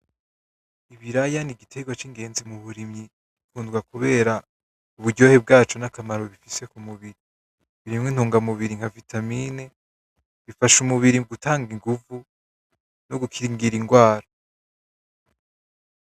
Ibiraya ni igiterwa c'ingenzi mu burimyi, bikundwa kubera uburyohe bwaco ntakamaro bifise kumubiri birimwo intungamubiri nka vitamine bifasha umubiri gutanga inguvu no gukingira indwara.